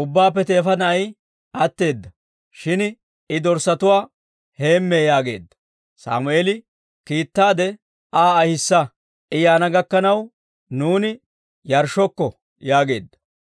«Ubbaappe teefa na'ay atteedda; shin I dorssatuwaa heemmee» yaageedda. Sammeeli, «Kiittaade Aa ahissa; I yaana gakkanaw nuuni yarshshokko» yaageedda.